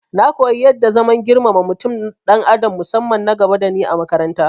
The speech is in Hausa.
Na koyi yadda zaman girmama mutum dan adam musamman nagaba dani a makarata